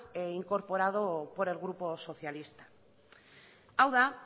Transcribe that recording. incorporado por el grupo socialista hau da